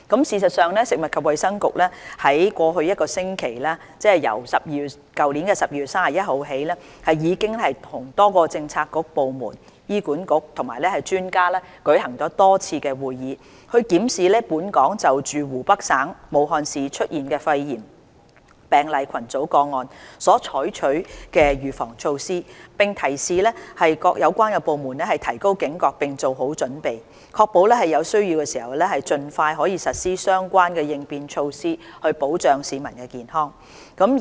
事實上，食物及衞生局於在過去一星期，即由去年12月31日起，已經與多個政策局、部門、醫院管理局及專家舉行多次會議，檢視本港就湖北省武漢市出現的肺炎病例群組個案所採取的預防措施，並提示各有關部門提高警覺並做好準備，確保在有需要時能盡快實施相關的應變措施，以保障市民的健康。